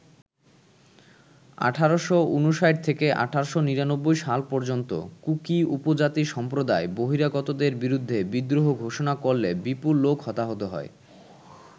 ১৮৫৯ থেকে ১৮৯৯ সাল পর্যন্ত কুকি উপজাতি সম্প্রদায় বহিরাগতদের বিরুদ্ধে বিদ্রোহ ঘোষণা করলে বিপুল লোক হতাহত হয়।